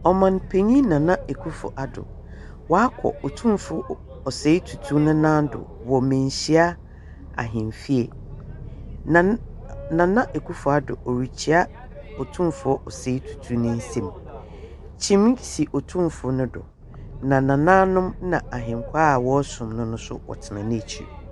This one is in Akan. Ɔman panyin Nana Akuffo Addo, wakɔ Otumfo Osei Tutu ne nando, wɔ Manhyia Ahemfie. Nana Akufo Addo ɔrekyia Otumfo Osei Tutu n'ensam. Kyimii si Otumfo nodo, na Nananom na Ahenkwaa a wɔsom no nso wɔtena n'akyir.